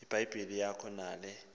ibhayibhile yakho nale